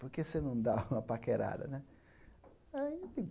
Por que você não dá uma paquerada, né?